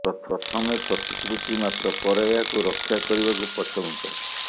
ପ୍ରଥମେ ପ୍ରତିଶ୍ରୁତି ମାତ୍ର ପରେ ଏହାକୁ ରକ୍ଷା କରିବାକୁ ପଛଘୁଞ୍ଚା